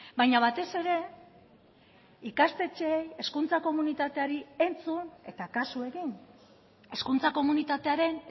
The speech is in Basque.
baina batez ere ikastetxeei hezkuntza komunitateari entzun eta kasu egin hezkuntza komunitatearen